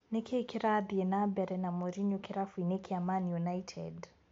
Nĩkĩĩ kĩrathiĩ nambere na Morinyo kĩrabu-inĩ kĩa Mani United ?